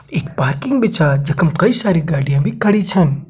एक पार्किंग भी छा जखम कई सारी गाड़ियाँ भी खड़ी छन।